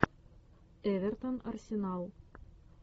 эвертон арсенал